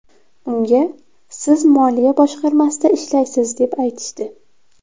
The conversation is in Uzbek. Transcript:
Unga siz moliya boshqarmasida ishlaysiz deb aytishdi.